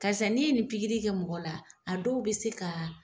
Karisa n'i ye nin kɛ mɔgɔ la a dɔw bɛ se ka.